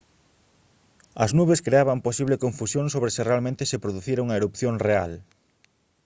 as nubes creaban posible confusión sobre se realmente se producira unha erupción real